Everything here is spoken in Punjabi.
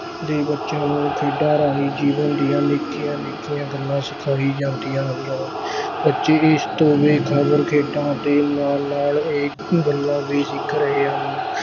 ਦੇ ਬੱਚਿਆਂ ਨੂੰ ਖੇਡਾਂ ਰਾਹੀਂ ਜੀਵਨ ਦੀਆਂ ਨਿੱਕੀਆਂ ਨਿੱਕੀਆਂ ਗੱਲਾਂ ਸਿਖਾਈ ਜਾਂਦੀਆਂ ਹਨ ਬੱਚੇ ਇਸ ਤੋਂ ਬੇਖ਼ਬਰ ਖੇਡਾਂ ਦੇ ਨਾਲ ਨਾਲ ਇਹ ਗੱਲਾਂ ਵੀ ਸਿੱਖ ਰਹੇ ਹਨ।